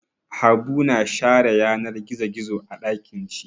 Habu na share yanar gizo gizo a ɗakin shi.